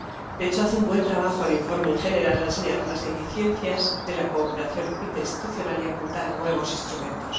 De hecho, hace un buen trabajo el informe en general al señalar las deficiencias de la cooperación interinstitucional y apuntar a nuevos instrumentos.